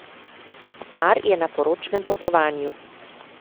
Par je na poročnem potovanju.